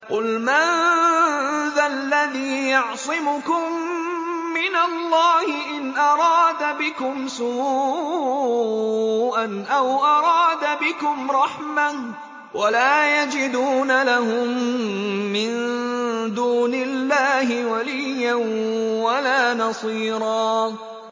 قُلْ مَن ذَا الَّذِي يَعْصِمُكُم مِّنَ اللَّهِ إِنْ أَرَادَ بِكُمْ سُوءًا أَوْ أَرَادَ بِكُمْ رَحْمَةً ۚ وَلَا يَجِدُونَ لَهُم مِّن دُونِ اللَّهِ وَلِيًّا وَلَا نَصِيرًا